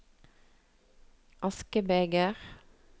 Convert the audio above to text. askebeger